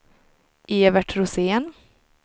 Evert Rosén